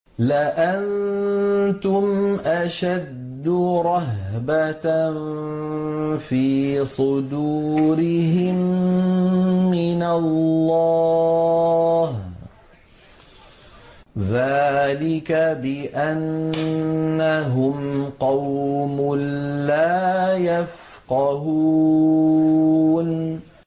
لَأَنتُمْ أَشَدُّ رَهْبَةً فِي صُدُورِهِم مِّنَ اللَّهِ ۚ ذَٰلِكَ بِأَنَّهُمْ قَوْمٌ لَّا يَفْقَهُونَ